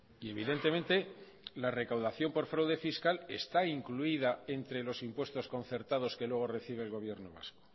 y evidentemente la recaudación por fraude fiscal está incluida entre los impuestos concertados que luego recibe el gobierno vasco